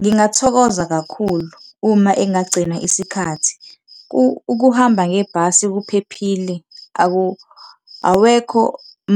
Ngingathokoza kakhulu, uma engagcina isikhathi. Ukuhamba ngebhasi kuphephile awekho